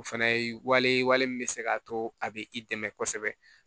O fana ye wale ye wale min bɛ se k'a to a bɛ i dɛmɛ kosɛbɛ